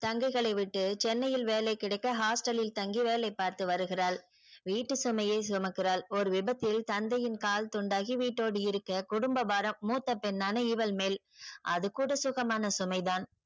தங்கைகளை விட்டு சென்னையில் வேலை கிடைக்க hostel லில் தங்கி வேலை பார்த்து வருகிறாள். வீட்டு சுமையை சுமக்கிறாள் ஒரு விபத்தில் தந்தையின் கால் துண்டாகி வீட்டோடு இருக்க குடும்ப பாரம் மூத்த பெண்ணான இவள் மேல் அது கூட சுகமான சுமைதான்.